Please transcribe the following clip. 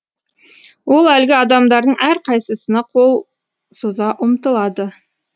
ол әлгі адамдардың әрқайсына қол соза ұмтылады